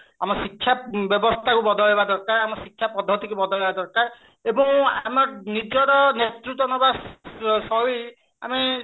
ଆମ ଶିକ୍ଷା ବ୍ୟବସ୍ଥାକୁ ବଦଳାଇବା ଦରକାର ଆମ ଶିକ୍ଷା ପଦ୍ଧତି କୁ ବଦଳାଇବା ଦରକାର ଏବଂ ଆମ ନିଜର ନେତୃତ୍ୟ ନବା ଆମେ